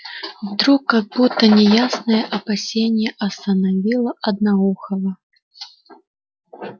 вдруг как будто неясное опасение остановило одноухого